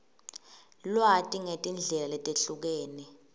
lwati ngetindlela letehlukene